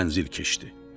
Mənzil keçdi.